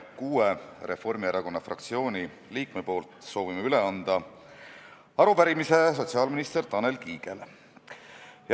Soovin kuue Reformierakonna fraktsiooni liikme nimel üle anda arupärimise sotsiaalminister Tanel Kiigele.